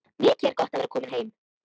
Mikið er gott að vera komin heim!